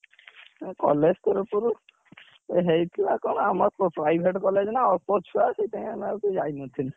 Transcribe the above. ଏ college ତରଫ ରୁ ଏ ହେଇଥିଲା କଣ? ଆମର private college ନା ଅଳ୍ପ ଛୁଆ ସେଥିପାଇଁ ଆମେ ଆଉ କେହି ଯାଇନଥିଲୁ